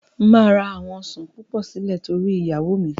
Máa ra àwọn Ọ̀sán púpọ̀ sílè torí iyawo míì.